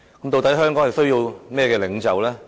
究竟香港需要怎樣的領袖呢？